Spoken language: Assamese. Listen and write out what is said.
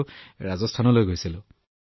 সেয়েহে মই ৰাজস্থানলৈ গৈছিলো